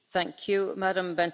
Frau Präsidentin!